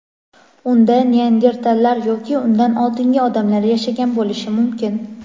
unda neandertallar yoki undan oldingi odamlar yashagan bo‘lishi mumkin.